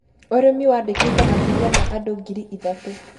Ũrĩmi waandĩkĩte makĩria ma andũ ngiri ithatũ